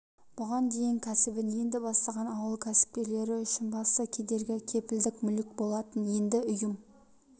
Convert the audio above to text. бұған дейін кәсібін енді бастаған ауыл кәсіпкерлері үшін басты кедергі кепілдік мүлік болатын енді ұйымы